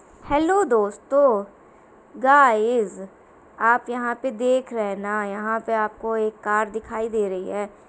Hello दोस्तों guys आप यहाँ पर देख रहे हैं ना यहाँ पे आपको एक कार दिखाई दे रही है।